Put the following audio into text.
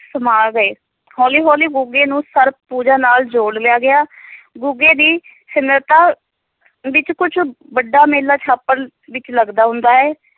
ਸਮਾ ਗਏ ਹੌਲੀ ਹੌਲੀ ਗੁੱਗੇ ਨੂੰ ਸਰਪ ਪੂਜਾ ਨਾਲ ਜੋੜ ਲਿਆ ਗਿਆ ਗੁੱਗੇ ਦੀ ਸਿਮਰਤਾ ਵਿੱਚ ਕੁੱਝ ਵੱਡਾ ਮੇਲਾ ਵਿੱਚ ਲਗਦਾ ਹੁੰਦਾ ਹੈ।